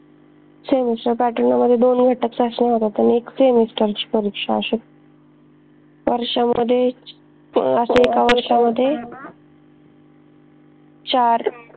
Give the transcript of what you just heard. semesterpattern मध्ये दोन घटक चाचन्या होतात आणि एक semester ची परीक्षा अशी वर्षांमध्ये चार